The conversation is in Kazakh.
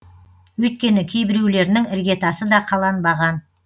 өйткені кейбіреулерінің іргетасы да қаланбаған